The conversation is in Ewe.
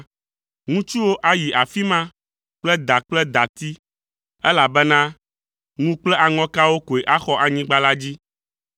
Ŋutsuwo ayi afi ma kple da kple dati, elabena ŋu kple aŋɔkawo koe axɔ anyigba la dzi.